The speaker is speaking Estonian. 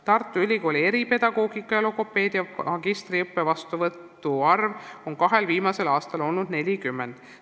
Tartu Ülikooli eripedagoogika ja logopeedia magistriõppe vastuvõtu arv on kahel viimasel aastal olnud 40.